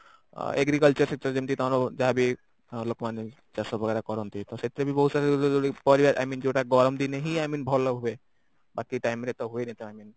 Agriculture ତାଙ୍କର ଯାହା ବି ଲୋକମାନେ ଚାଷ କରନ୍ତି ତ ସେଥିରେ ବି ବହୁତ ସାରା ପାରିବା I mean ଜଉଟା ଗରମ ଦିନେ ହିଁ I mean ଭଲ ହୁଏ ବାକି time ରେ ତ ହୁଏନି ତ I mean